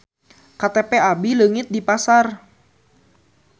KTP abi leungit di pasar